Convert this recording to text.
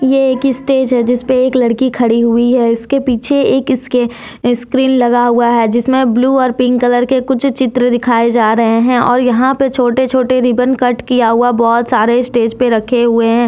ये एक स्टेज है जिसपे एक लड़की खड़ी हुई है इसके पीछे एक इसके स्क्रीन लगा हुआ है जिसमें ब्लू और पिंक कलर के कुछ चित्र दिखाए जा रहे हैं और यहां पे छोटे छोटे रिबन कट किया हुआ बहुत सारे स्टेज पे रखे हुए हैं।